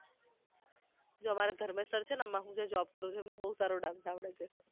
જે અમારા ધર્મેશ sir છે ને આમા હું જ્યા job કરુ છુ તેમને બવ સારો dance આવડે છે